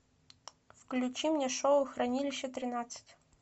включи мне шоу хранилище тринадцать